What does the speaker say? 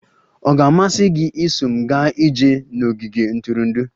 Ọ ga-amasị gị iso m gaa ije n'ogige ntụrụndụ?